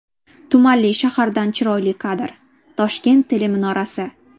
Tumanli shahardan chiroyli kadr: Toshkent teleminorasi.